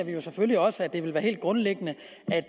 selvfølgelig også at det vil være helt grundlæggende